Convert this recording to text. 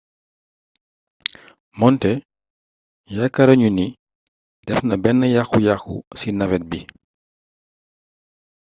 moonte yaakaaruñu ni defna benn yakku yakku ci navette bi